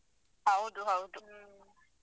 ಹೌದು ಹೌದು.